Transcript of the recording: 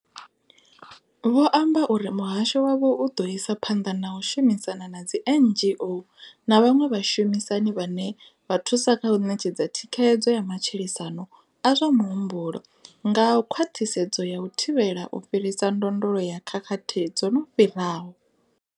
Vho amba uri muhasho wavho u ḓo isa phanḓa na u shumisana na dzi NGO na vhaṅwe vhashumisani vhane vha thusa kha u ṋetshedza thikhedzo ya matshilisano a zwa muhumbulo nga khwaṱhisedzo ya u thivhela u fhirisa ndondolo ya khakhathi dzo no fhiraho.